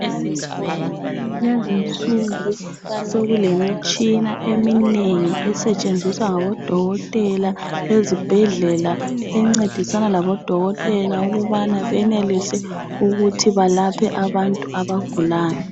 Lezinsuku sokulemitshina eminengi esetshenziswa ngabodokotela ezibhedlela encedisana labodokotela ukubana benelise ukuthi balaphe abantu abagulayo.